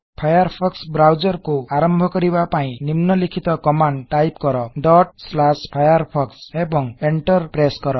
Firefox browser କୁ ଆରମ୍ଭ କରିବା ପାଇଁ ନିମ୍ନଲିଖିତ କମାଣ୍ଡ ଟାଇପ୍ କର firefox ଡଟ୍ ସ୍ଲାଶ୍ ଫାୟାରଫୋକ୍ସ ଏବଂଏଣ୍ଟର ପ୍ରେସ୍ସ୍ କର